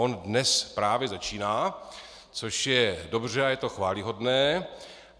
On dnes právě začíná, což je dobře a je to chvályhodné.